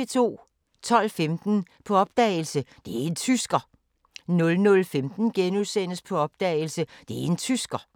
12:15: På opdagelse – Det' en tysker! 00:15: På opdagelse – Det' en tysker! *